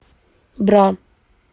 бра